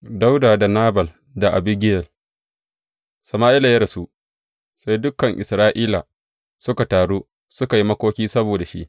Dawuda da Nabal da Abigiyel Sama’ila ya rasu, sai dukan Isra’ila suka taru suka yi makoki saboda shi.